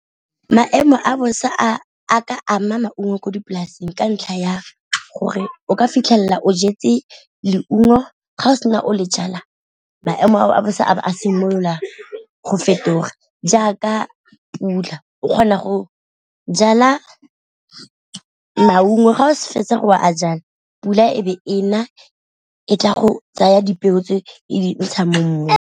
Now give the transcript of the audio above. Maemo a bosa a a ka ama maungo ko dipolaseng ka ntlha ya gore o ka fitlhela o jetse leungo ga o sena o le jala maemo a bosa a simolola go fetoga, jaaka pula o kgona go jala maungo ga o sa fetsa gore a jala pula e be ena e tla go tsaya dipeo tse e di ntsha mo mmung.